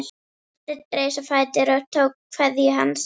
Marteinn reis á fætur og tók kveðju hans.